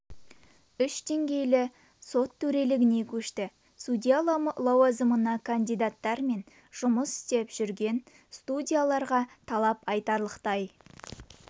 үш деңгейлі сот төрелігіне көшті судья лауазымына кандидаттар мен жұмыс істеп жүрген судьяларға талап айтарлықтай